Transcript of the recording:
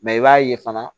Mɛ i b'a ye fana